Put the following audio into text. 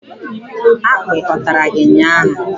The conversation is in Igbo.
Akpi ọ tàrà gị ụnyaahụ?